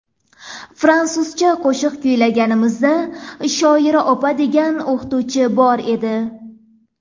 Fransuzcha qo‘shiq kuylaganimizda Shoira opa degan o‘qituvchi bo‘lar edi.